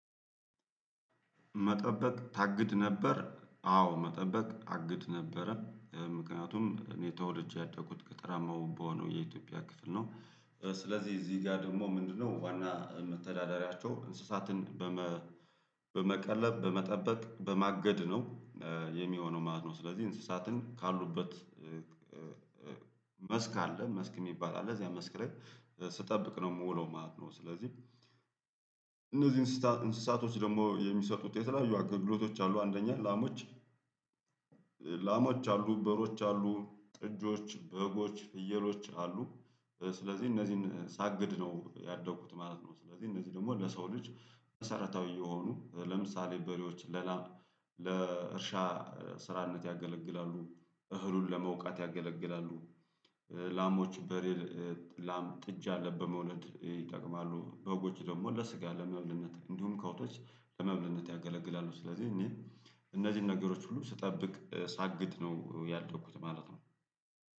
መጠበቅ ታግድ ነበር አዎ መጠበቅ አግድ ነበረ። ምክንያቱም እኔ ተወልጄ ያደጉት ገጠራማ ውብ በሆነው የኢትዮጵያ ክፍል ነው። ስለዚህ እዚህ ጋር ደግሞ ምንድነው ዋና መተዳደሪያቸው እንስሳትን በመቀለብ፣ በመጠበቅ፣ በማገድ ነው የሚሆነው ማለት ነው ስለዚህ እንስሳትን ካሉበት መስክ አለ መስክ የሚባል አለ እዚያ መስክ ላይ ስጠብቅ ነው ምውለው ማለት ነው ስለዚህ እነዚህ እንስሳቶች ደግሞ የሚሰጡት የሚሰጡት የተለያዩ አገልግሎቶች አሉ አንደኛ ላሞች፤ ላሞች አሉ፣ በሮች አሉ፣ ጥጆች፣ በጎች፣ ፍየሎች አሉ። ስለዚህ እነዚህን ሳግድ ነው ያደጉት ማለት ነው ስለዚህ እነዚህ ደግሞ ለሰው ልጅ መሰረታዊ የሆኑ ለምሳሌ በሬዎች ለእርሻ ስራነት ያገለግላሉ። እህሉን ለመውቃት ያገለግላሉ። ላሞች በሬ ላም ጥጃ ለ በመውለድ ይጠቅማሉ በጎች ደግሞ ለስጋ ለመብልነት እንዲሁም ከብቶች ለመብልነት ያገለግላሉ ስለዚህ እኔ እነዚህን ነገሮች ሁሉ ስጠብቅ ሳግድ ነው ያደኩት ማለት ነው።